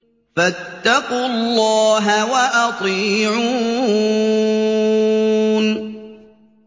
فَاتَّقُوا اللَّهَ وَأَطِيعُونِ